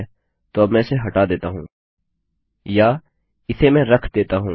ठीक है तो अब मैं इसे हटा देता हूँ या इसे मैं रख देता हूँ